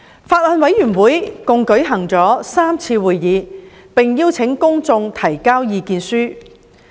法案委員會共舉行了3次會議，並邀請公眾提交意見書。